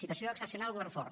situació excepcional govern fort